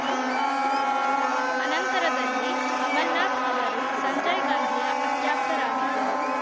ಅನಂತರದಲ್ಲಿ ಕಮಲನಾಥ್‌ ಅವರು ಸಂಜಯ್‌ ಗಾಂಧಿಯ ಅತ್ಯಾಪ್ತರಾಗಿದ್ದರು